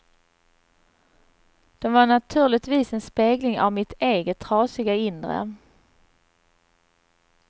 De var naturligtvis en spegling av mitt eget trasiga inre.